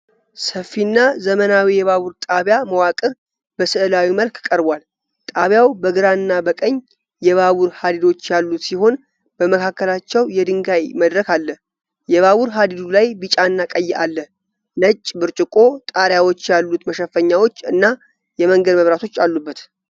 ሰፊና ዘመናዊ የባቡር ጣቢያ መዋቅር በስዕላዊ መልክ ቀርቧል። ጣቢያው በግራና በቀኝ የባቡር ሀዲዶች ያሉት ሲሆን በመካከላቸው የድንጋይ መድረክ ይገኛል። የባቡር ሀዲዱ ላይ ቢጫና ቀይ አለ። ነጭ፣ ብርጭቆ ጣሪያዎች ያሉት መሸፈኛዎች እና የመንገድ መብራቶች አሉበት።